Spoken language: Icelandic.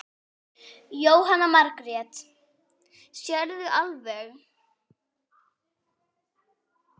Jóhanna Margrét: Sérðu alveg?